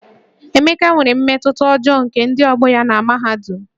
Emeka nwere mmetụta ọjọọ nke ndị ọgbọ ya na mahadum